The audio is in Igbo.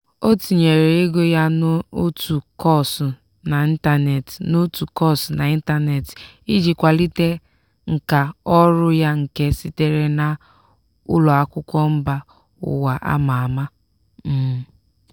ọ tinyere ego ya n'otu kọọsụ n'ịntanetị n'otu kọọsụ n'ịntanetị iji kwalite nkà ọrụ ya nke sitere na ụlọ akwụkwọ mba ụwa a ma ama. um